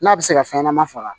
N'a bɛ se ka fɛn ɲɛnama faga